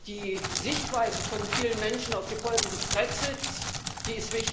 Die Sichtweise von vielen Menschen auf die Folgen des Brexits ist wichtig.